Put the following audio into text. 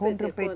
Contra o Pê